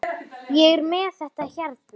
Ég er með þetta hérna.